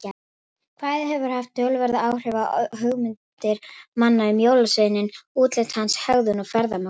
Kvæðið hefur haft töluverð áhrif á hugmyndir manna um jólasveininn, útlit hans, hegðun og ferðamáta.